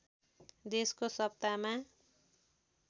देशको सत्तामा